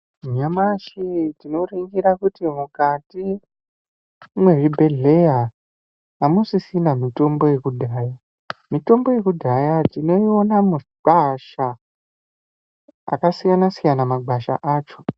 Nyamashi tinoringira kuti mukati muzvibhehleya hamusisina mitombo yekudhaya mitombo yekudhaya tinokona mugwasha akasiyana siyana magwasha acho.